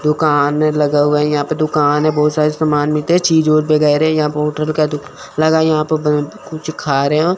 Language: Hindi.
दुकान है लगा हुआ है यहां पे दुकान है बहोत सारे समान मिलते चीजे वगैरे यहां पे होटल कुछ खा रहे है।